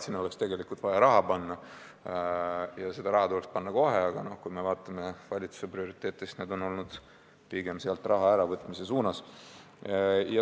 Sinna oleks vaja raha panna ja teha seda kohe, aga kui me vaatame valitsuse prioriteete, siis need on pigem sealt raha äravõtmise poole.